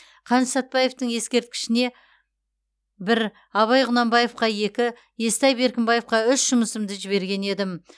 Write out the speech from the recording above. қаныш сәтбаевтың ескерткішіне бір абай құнанбаевқа екі естай беркімбаевқа үш жұмысымды жіберген едім